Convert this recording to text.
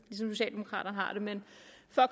socialdemokraterne